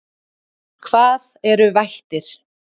Hvað eru vættir?